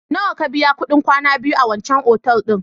Nawa ka biya kuɗin kwana biyu a wancan otal ɗin?